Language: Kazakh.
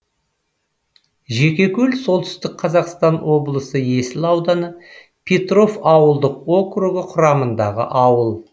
жекекөл солтүстік қазақстан облысы есіл ауданы петров ауылдық округі құрамындағы ауыл